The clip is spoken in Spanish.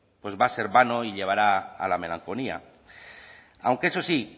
pues va a ser vano y llevará a la melancolía aunque eso sí